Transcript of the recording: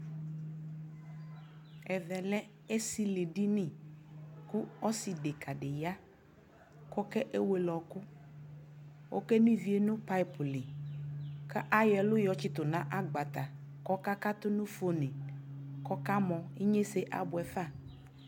ɛvɛ lɛ ɛsili dini kʋ ɔsii dɛka di ya kʋ ɔkɛ wɛlɛ ɔkʋ, ɔkɛnɔ iviɛ nʋ pipe li kʋ ayɔ ɛlʋ yɔ tsitʋ nʋ agbata kʋ ɔka katʋ nʋ phonʋ kʋ ɔka mɔ, inyɛsɛ abʋɛ ƒa